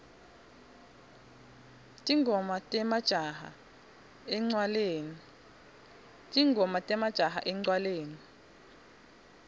tingoma temajaha encwaleni